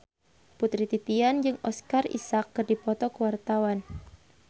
Putri Titian jeung Oscar Isaac keur dipoto ku wartawan